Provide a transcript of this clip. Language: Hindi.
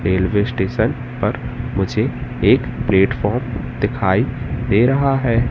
रेल्वे स्टेशन पर मुझे एक प्लेटफार्म दिखाई दे रहा है।